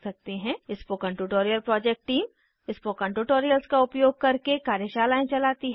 spoken tutorial project team spoken tutorials का उपयोग करके कार्यशालाएं चलाती है